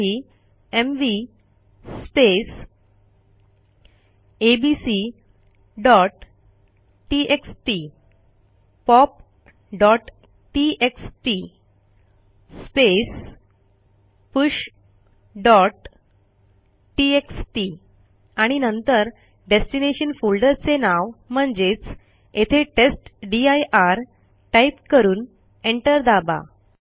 त्यासाठी एमव्ही abcटीएक्सटी popटीएक्सटी pushटीएक्सटी आणि नंतर डेस्टिनेशन फोल्डरचे नाव म्हणजेच येथे टेस्टदीर टाईप करून एंटर दाबा